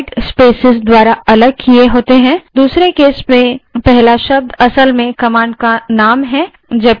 दूसरे case में पहला शब्द command का वास्तविक name है जबकि अन्य शब्द तर्क हैं